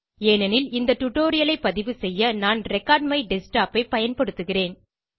ஏனெனில் இந்த டியூட்டோரியல் ஐ பதிவு செய்ய நான் ரெக்கார்ட்மைடஸ்க்டாப் ஐ பயன்படுத்துகிறேன்